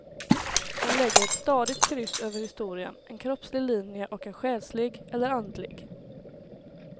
Hon lägger ett stadigt kryss över historien, en kroppslig linje och en själslig, eller andlig.